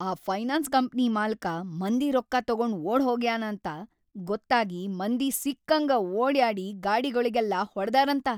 ಆ finance company ಮಾಲಕ ಮಂದಿ ರೊಕ್ಕಾ ತೊಗೊಂಡ್‌ ಓಡ್‌ಹೋಗ್ಯಾನ ಅಂತ ಗೊತ್ತಾಗಿ ಮಂದಿ ಸಿಕ್ಕಂಗ ಓಡ್ಯಾಡಿ ಗಾಡಿಗೊಳಿಗೆಲ್ಲಾ ಹೊಡದಾರಂತ.